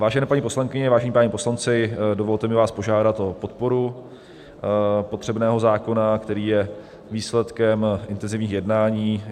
Vážené paní poslankyně, vážení páni poslanci, dovolte mi vás požádat o podporu potřebného zákona, který je výsledkem intenzivních jednání.